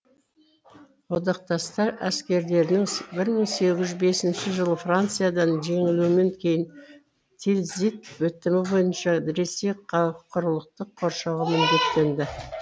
одақтастар әскерлерінің бір мың сегіз жүз бесінші жылы франциядан жеңілуінен кейін тильзит бітімі бойынша ресей құрылықтық қоршауға міндеттенді